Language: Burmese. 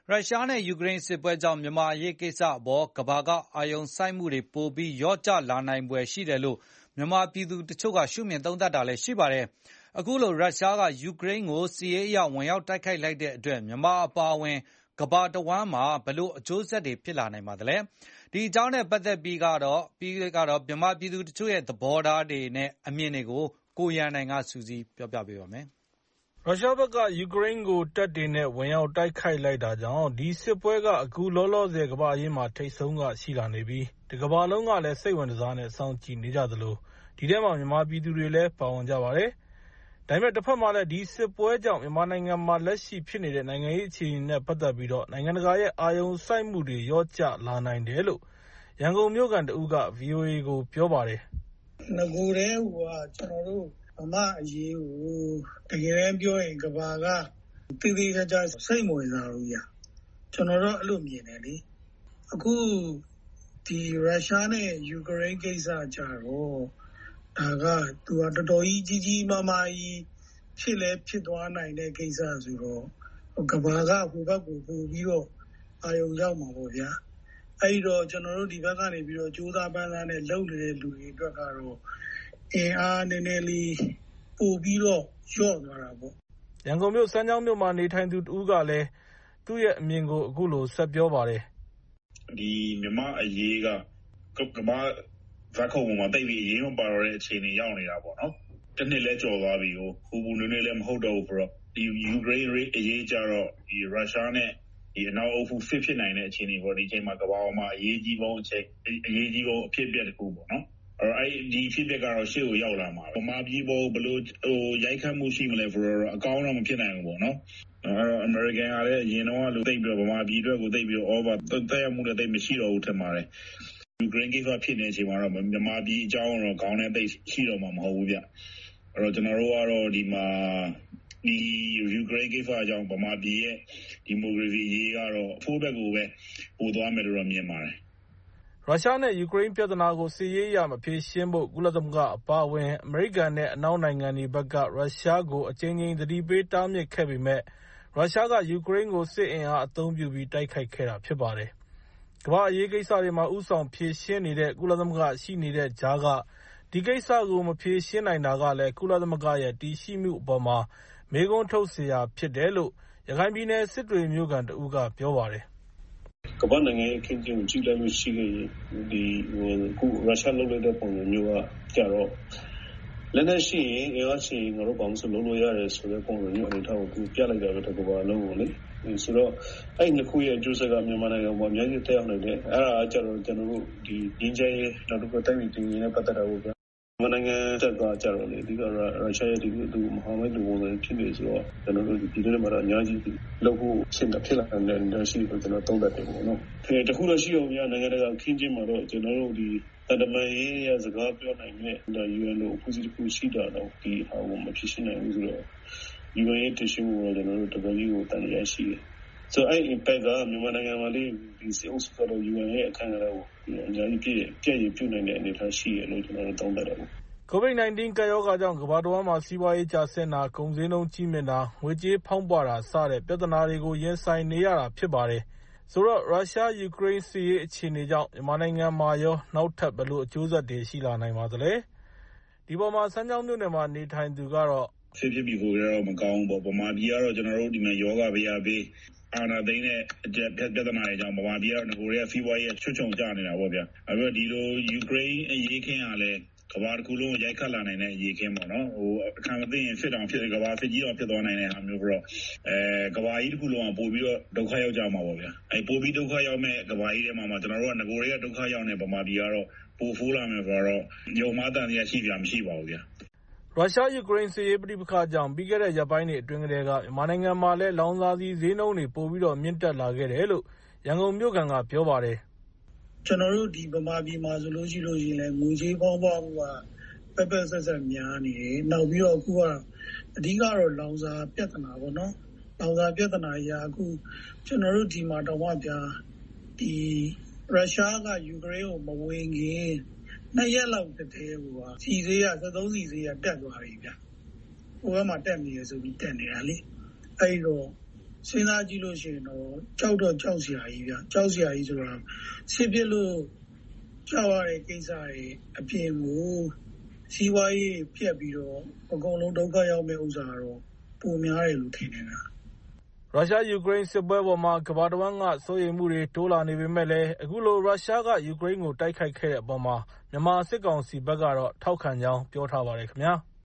ရုရှားနဲ့ ယူကရိန်းစစ်ပွဲကြောင့် မြန်မာ့အရေးကိစ္စအပေါ် ကမ္ဘာက အာရုံစိုက်မှုတွေ ပိုပြီးလျော့ကျ လာနိုင်ဖွယ်ရှိတယ်လို့ မြန်မာပြည်သူတချို့က ရှုမြင် သုံးသပ်နေကြပါတယ်။ အခုလို ရုရှားက ယူကရိန်းကို စစ်ရေးအရ ဝင်ရောက် တိုက်ခိုက်လိုက်တဲ့အတွက် မြန်မာ အပါအဝင် ကမ္ဘာတဝန်းမှာ ဘယ်လို အကျိုးဆက်တွေ ဖြစ်လာနိုင်မလဲ။ ဒီအကြောင်းနဲ့ပတ်သက်ပြီး မြန်မာပြည်သူ တချို့ရဲ့ သဘောထား အမြင်တွေကို ကိုရန်နိုင်က စုစည်းတင်ပြထားပါတယ်။ ရုရှားဘက်က ယူကရိန်းကို တပ်တွေနဲ့ ဝင်ရောက် တိုက်ခိုက်လိုက်တာကြောင့် ဒီစစ်ပွဲက အခုလောလောဆယ် ကမ္ဘာ့အရေးမှာ ထိပ်ဆုံးက ရှိလာနေပြီး တကမ္ဘာလုံးကလည်း စိတ်ဝင်တစားနဲ့ စောင့်ကြည့်နေကြသလို ဒီထဲမှာ မြန်မာပြည်သူတွေလည်းပါဝင်ကြပါတယ်။ ဒါပေမဲ့ တဘက်မှာလည်း ဒီစစ်ပွဲကြောင့် မြန်မာ့နိုင်ငံလက်ရှိဖြစ်နေတဲ့ နိုင်ငံရေး အခြေအနေတွေ နဲ့ ပတ်သက်ပြီး နိုင်ငံတကာရဲ့ အာရုံစိုက်မှုတွေ လျော့ကျလာနိုင်တယ်လို့ ရန်ကုန်မြို့ခံတဦးက ဗီအိုအေကို အခုလို ပြောပါတယ်။ " နဂိုကတည်းကိုက ကျနော်တို့ မြန်မာ့အရေးကို ကမ္ဘာက သေသေချာချာ စိတ်မဝင်စားဘူး။ အခု ဒီ ရုရှားနဲ့ ယူကရိန်းကိစ္စကျတော့ သူက တော်တော်ကြီး ကြီးကြီးမားမား ဖြစ်သွားနိုင်တဲ့ ကိစ္စဖြစ်တော့ ကမ္ဘာက အဲဒီဖက်ကို ပိုပြီးအာရုံရောက်မယ်ပေါ့ဗျာ၊ အဲဒီတော့ ကျနော်တို့ မြန်မာ့အရေး ကြိုးစားပမ်းစား လုပ်နေတဲ့သူတွေအတွက်ကတော့ အင်အားနဲနဲ ပိုလျော့သွားတာပေါ့။" ရန်ကုန်မြို့ စမ်းချောင်မြို့နယ်မှာနေထိုင်သူ တဦးကတော့ သူ့ရဲ့ အမြင်ကို အခုလို ပြောပါတယ်။ " မြန်မာ့အရေးက ကမ္ဘာ့ဇာတ်ခုံပေါ်မှာ သိပ်ပြီး အရေးမပါတဲ့ အခြေအနေ ရောက်နေတာပေါ့။ တနှစ်လည်း ကျော်သွားပြီကိုး။ ဒီ ယူကရိန်းအရေးကျတော့ ရုရှားနဲ့ အနောက်အုပ်စု စစ်ဖြစ်နိုင်တဲ့ အခြေအနေမျိုး ကမ္ဘာပေါ်မှာ အရေးအကြီးဆုံး အဖြစ်အပျက်တခုပေါ့။ ဆိုတော့ ဒီအဖြစ်အပျက်ကတော့ ရှေ့ကိုရောက်လာမှာပေါ့။ မြန်မာပြည်ပေါ် ရိုက်ခတ်မှုကတောာ့ အကောင်းဖက်တော့ ဖြစ်မလာနိုင်ဘူးပေါ့နော်။ ယူကရိန်းအရေး ဖြစ်လာချိန်မှာ အမေရိကန်ကလည်း မြန်မာပြည်အကြောင်းကို ခေါင်းထဲ ရှိတော့မှာ မဟုတ်ဘူးဗျ ။ ဒီ ယူကရိန်းကိစ္စကြောင့် မြန်မာပြည် ဒီမိုကရေစီအရေးက အဆိုးဖက်ကိုပဲ ပိုသွားမယ်လို့ပဲ ထင်ပါတယ်။" ရုရှားနဲ့ ယူကရိန်း ပြဿနာကို စစ်ရေးအရ မဖြေရှင်းဖို့ ကုလသမဂ္ဂ အပါအဝင် အမေရိကန် နဲ့ အနောက်နိုင်ငံတွေဘက်က ရုရှားကို အကြိမ်ကြိမ် သတိပေး တားမြစ်ခဲ့ပေမယ့် ရုရှားက ယူကရိန်းကို စစ်အင်အားအသုံးပြုပြီး တိုက်ခိုက်ခဲ့တာဖြစ်ပါတယ်။ ကမ္ဘာ့အရေးကိစ္စတွေမှာ ဦးဆောင်ဖြေရှင်းနေတဲ့ ကုလသမဂ္ဂရှိနေတဲ့ကြားက ဒီကိစ္စကို မဖြေရှင်းနိုင်တာကလည်း ကုလသမဂ္ဂရဲ့ တည်ရှိမှုအပေါ်မှာ မေးခွန်းထုတ်စရာ ဖြစ်တယ်လို့ ရခိုင်ပြည်နယ် စစ်တွေမြို့ခံတဦးကပြောပါတယ်။ " ကမ္ဘာ့ နိုင်ငံရေး အခင်းအကျင်းကို ကြည့်လိုက်ရင် ၊ အခု ရုရှားလုပ်တဲ့ပုံစံမျိုးကကျတော့ လက်နက်ရှိရင် ငါတို့ ဘာမဆို လုပ်လို့ရတယ်ဆိုတဲ့ ပုံစံမျိုးကို တကမ္ဘာလုံးကို ပြလိုက်တာလို့ ထင်ပါတယ်ပေါ့လေ။ ဆိုတော့ အဲဒီအကျိုးဆက်က မြန်မာနိုင်ငံကို ငြိမ်းချမ်းရေးရယ်၊ တိုင်းပြည် တည်ငြိမ်ရေးရယ် အများကြီး သက်ရောက်နိုင်တယ်။ မြန်မာက ရုရှားရဲ့ မဟာမိတ်ဖြစ်နေတော့ ပြည်တွင်းမှာ ရိုက်ခတ်မှု ပိုရှိလာမယ် ထင်တာပေါ့။ တခုတော့ ရှိတာပေ့ါ နိုင်ငံတကာ အခင်းအကျင်းမှာတော့ သံတမန်ရေးအရ စကားပြောနိုင်မယ့် UN လို အဖွဲ့အစည်းတခု ရှိတာတောင် ဒီဟာကို မဖြေရှင်းပေး နိုင်ဘူးဆိုတော့ UN ရဲ့ တည်ရှိမှု အပေါ်မှာလည်း တော်တော်လေး သံသယရှိတယ်။ အဲလိုဆိုတော့ မြန်မာနိုင်ငံမှာလည်း ဒီစစ်အုပ်စုက UN ရဲ့အခန်းကဏ္ဍကို အများကြီး ပျက်ရယ်ပြုနိုင်တဲ့ အနေအထား ရှိတယ်လို့ ကျနော်တို့ သုံးသပ်တယ်။" ကိုဗစ် ၁၉ ကပ်ရောဂါကြောင့် ကမ္ဘာတဝန်းမှာ စီးပွားရေးကျဆင်းတာ၊ ကုန်ဈေးနှုန်းကြီးးမြင့်တာ၊ ငွေကြေးဖောင်းပွတာစတဲ့ ပြဿနာတွေကို ရင်ဆိုင်နေရတာဖြစ်ပါတယ်။ ဆိုတော့ ရုရှား-ယူကရိန်းစစ်ရေး အခြေအနေကြောင့် မြန်မာနိုင်ငံမှာရော နောက်ထပ် ဘယ်လိုအကျိုးဆက်တွေ ရှိလာနိုင်ပါသလဲ။ ဒီအပေါ်မှာ စမ်းချောင်းမြို့ခံကတော့ " မြန်မာပြည်မှာကတော့ ရောဂါဘယဘေးရော ၊ အာဏာသိမ်းတဲ့ အကျပ်တည်းပြဿနာတွေကြောင့် မြန်မာပြည်က နဂိုကတည်းက စီးပွားရေး ချွတ်ခြုံကျနေတာပေါ့ဗျာ။ ခု ယူကရိန်းအရေးကလည်း ကမ္ဘာတခုလုံးကို ရိုက်ခတ်လာနိုင်တာပေါ့နော်။ အခန့်မသင့်ရင် ကမ္ဘာစစ်ကြီးတောင် ဖြစ်သွားနိုင်တာမျိုး ဆိုတော့ ကမ္ဘာကြီးတခုလုံး ဒုက္ခရောက်သွားနိုင်တာပေါ့။ ပိုပြီး ဒုက္ခ ရောက်ကြမယ့်အထဲမှာ နဂိုထဲက ဒုက္ခရောက်နေတဲ့ မြန်မာပြည်ကတော့ ပိုပြီးဆိုးလာမယ်ဆိုတာကတော့ ယုံမှား သံသယဖြစ်စရာ မလိုဘူးပေါ့။ " ရုရှား-ယူကရိန်းစစ်ရေး ပဋိပက္ခကြောင့် ပြီးခဲ့တဲ့ ရက်ပိုင်းတွေအတွင်းကတည်းက မြန်မာနိုင်ငံမှာလည်း လောင်စာဆီဈေးနှုန်းတွေ ပိုပြီးတော့ မြင့်တက်လာခဲ့တယ်လို့ ရန်ကုန်မြို့ခံက ပြောပါတယ်။ " ကျနော်တို့ ဒီ ဗမာပြည်မှာဆိုရင်လည်း ငွေကြေး ဖေါင်းပွမှုက ပက်ပက်စက်စက် များနေတယ်။ နောက်ပြီး လောင်စာပြဿနာပေါ့။ ရုရှားက ယူကရိန်းကို မဝင်ခင် ၂ ရက်လောက် ကတည်းကိုက စက်သုံးဆီဈေးကလည်း ဟိုဖက်မှာ တက်တယ်ဆိုပြီး ဒီမှာလည်း တက်နေပြီပေါ့ဗျာ။ အဲဒီတော့ စဉ်းစားကြည့်ရင် ကြောက်စရာကြီးပေါ့၊ စစ်ဖြစ်လို့ ကြောက်ရမယ့်ကိစ္စတွေအပြင်ကို စီးပွားရေးတွေ ပျက်ပြီးတော့ အကုန်လုံး ဒုက္ခရောက်မယ့်ဟာကတော့ ပိုများမယ်လို့ ထင်တယ်။" ရုရှား-ယူကရိန်းစစ်ပွဲအပေါ်မှာ ကမ္ဘာတဝန်းက စိုးရိမ်မှုတွေ တိုးလာနေပေမယ့်လည်း၊ အခုလို ရုရှားက ယူကရိန်းကို တိုက်ခိုက်တဲ့အပေါ် မြန်မာစစ်ကောင်စီဘက်ကတော့ ထောက်ခံကြောင်း ပြောထားပါတယ်ခင်ဗျာ။